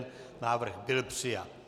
Návrh byl přijat.